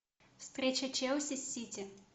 встреча челси с сити